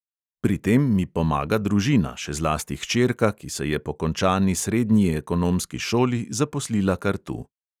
Pri tem mi pomaga družina, še zlasti hčerka, ki se je po končani srednji ekonomski šoli zaposlila kar tu.